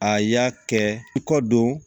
A y'a kɛ i kɔ don